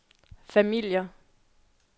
familier